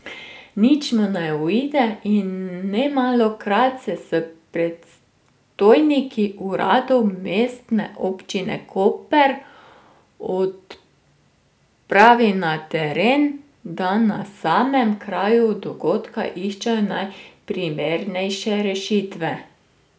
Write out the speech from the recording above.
Nič mu ne uide in nemalokrat se s predstojniki uradov Mestne občine Koper odpravi na teren, da na samem kraju dogodka iščejo najprimernejše rešitve.